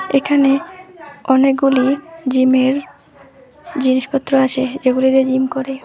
এখানে অনেকগুলি জিমের জিনিসপত্র আছে যেগুলি দিয়ে জিম করে।